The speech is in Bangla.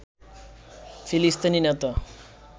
ফিলিস্তিনি নেতা